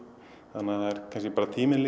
það er bara tíminn